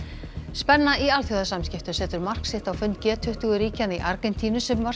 spenna í alþjóðasamskiptum setur mark sitt á fund g tuttugu ríkjanna í Argentínu sem var